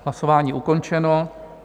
Hlasování ukončeno.